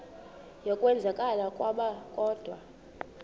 yokwenzakala kwabo kodwa